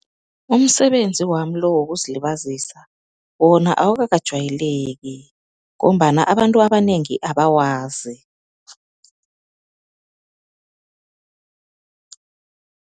Umsebenzi wami lo wokuzilibazisa wona awukakajwayeleki ngombana abantu abanengi abawazi.